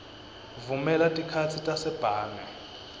vumela tikhatsi tasebhange